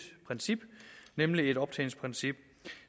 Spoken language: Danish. princip nemlig et optjeningsprincip